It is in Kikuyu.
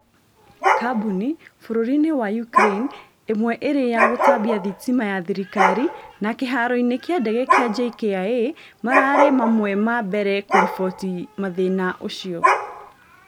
kambunĩ , bũrũri-inĩ wa Ukraĩne ĩmwe ĩrĩ ya gũtambia thitima ya thirikari na kĩharo-inĩ kĩa ndege kĩa JKIA mararĩ mamwe ma mbere kũribotĩ mathĩna ũcĩo